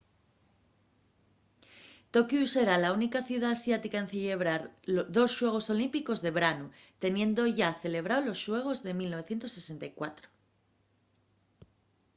tokiu será la única ciudá asiática en cellebrar dos xuegos olímpicos de branu teniendo yá celebrao los xuegos de 1964